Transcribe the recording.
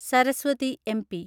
Saraswati (MP)